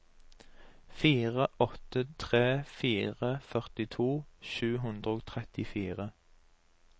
fire åtte tre fire førtito sju hundre og trettifire